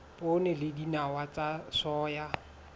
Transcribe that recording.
poone le dinawa tsa soya